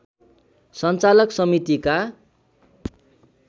सञ्चालक समितिका